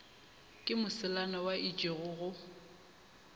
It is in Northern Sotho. ke moselana wa itše go